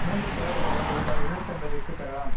மூன்று புடவைகளை ரூபாய் எழநூத்து ஐம்பதுக்கு பெறலாம்